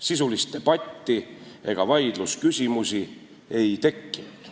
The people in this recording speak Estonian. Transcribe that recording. Sisulist debatti ega vaidlusküsimusi ei tekkinud.